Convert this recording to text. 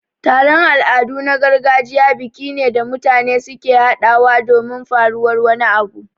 Taron Al'adu na gargajiya biki ne da mutane suke haɗawa domin faruwar wani abu